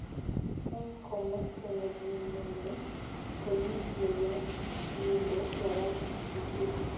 Eng komosta negimenye komi lolongindo barak ochei